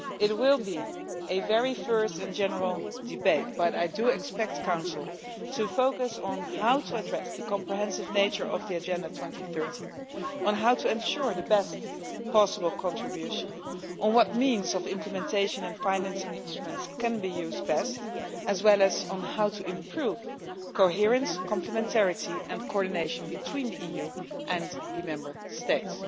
It will be a very first and general debate but I do expect Council to focus on how to address the comprehensive nature of the 2030 Agenda, how to ensure the best possible contribution, what means of implementation and financing instruments can be used best, as well as how to improve coherence, complementarity and coordination between the EU and the Member States.